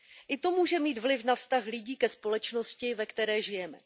I to může mít vliv na vztah lidí ke společnosti, ve které žijeme.